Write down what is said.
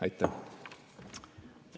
Aitäh!